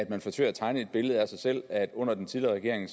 man forsøger at tegne et billede af sig selv under den tidligere regering